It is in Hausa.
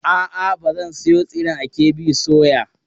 A'a, ba zan sayo tsiren a KB soya.